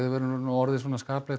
orðið skaplegt